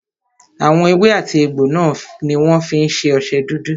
Àwọn èwe àti egbò náà ní wọ́n fí ń ṣe ọṣẹ dúdú.